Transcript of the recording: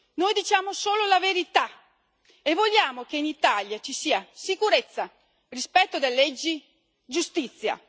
Noi diciamo solo la verità e vogliamo che in Italia ci sia sicurezza, rispetto delle leggi e giustizia.